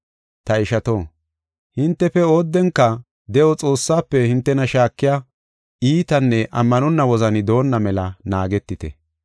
Ta ishato, hintefe oodenka, de7o Xoossaafe hintena shaakiya iitanne ammanonna wozani doonna mela naagetite.